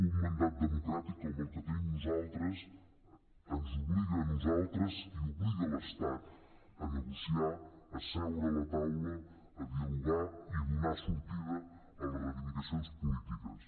un mandat democràtic com el que tenim nosaltres ens obliga a nosaltres i obliga l’estat a negociar a seure a la taula a dialogar i donar sortida a les reivindicacions polítiques